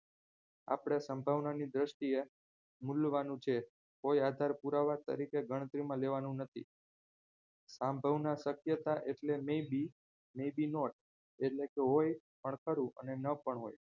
આપણે સંભાવના ની દ્રષ્ટિએ મૂલવાનું છે કોઈ આધાર પુરાવા તરીકે ગણતરીમાં લેવાનું નથી સાંભળનાર શક્યતા એટલે may be may be not એટલે કે હોય પણ ખરું અને ન પણ હોય